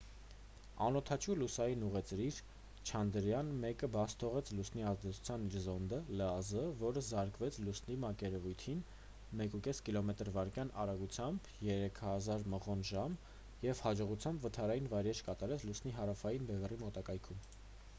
անօդաչու լուսնային ուղեծիր չանդրայաան 1-ը բաց թողեց լուսնի ազդեցության իր զոնդը լազ որը զարկվեց լուսնի մակերևույթին 1,5 կմ/վ արագությամբ 3000 մղոն/ժամ և հաջողությամբ վթարային վայրէջք կատարեց լուսնի հարավային բևեռի մոտակայքում: